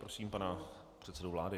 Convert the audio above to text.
Prosím pana předsedu vlády.